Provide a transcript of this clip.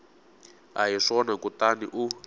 a hi swona kutani u